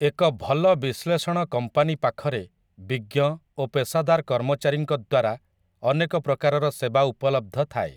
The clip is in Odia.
ଏକ ଭଲ ବିଶ୍ଳେଷଣ କମ୍ପାନୀ ପାଖରେ ବିଜ୍ଞ ଓ ପେଶାଦାର କର୍ମଚାରୀଙ୍କ ଦ୍ୱାରା ଅନେକ ପ୍ରକାରର ସେବା ଉପଲବ୍ଧ ଥାଏ ।